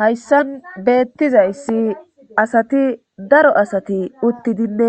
Hayssan beettizayssi asati daro asati uttidinne